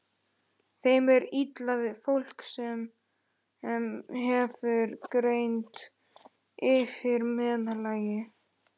Þeim er illa við fólk, sem hefur greind yfir meðallagi.